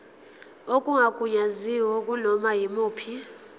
okungagunyaziwe kunoma yimuphi